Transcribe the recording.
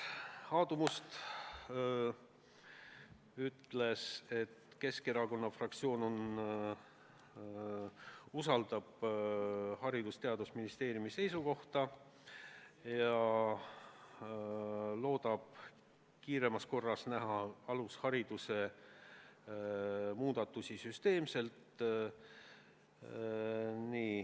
Aadu Must ütles, et Keskerakonna fraktsioon usaldab Haridus- ja Teadusministeeriumi seisukohta ja loodab kiiremas korras näha alushariduse süsteemseid muudatusi.